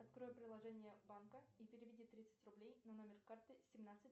открой приложение банка и переведи тридцать рублей на номер карты семнадцать